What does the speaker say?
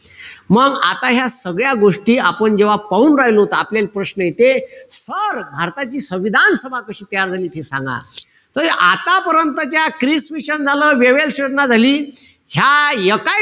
मंग आता ह्या सगळ्या गोष्टी आपण जेव्हा पाहून राहिलो, त आपल्याला प्रश्न येते, sir भारताची संविधान सभा कशी तयार झाली ते सांगा. तर आतापर्यंत क्रिस मिशन झालं, वेव्हेल्स योजना झाली. ह्या एकाय,